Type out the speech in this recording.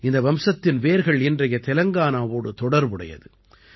இந்த வம்சத்தின் வேர்கள் இன்றைய தெலங்கானாவோடு தொடர்புடையது